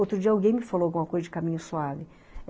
Outro dia alguém me falou alguma coisa de caminho suave.